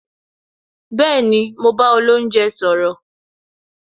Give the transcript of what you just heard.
Bẹẹni, mo bá olounje sọ̀rọ̀